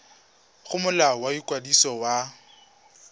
go molao wa ikwadiso wa